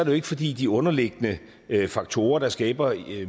jo ikke fordi de underliggende faktorer der skaber